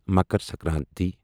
Makar Sankranti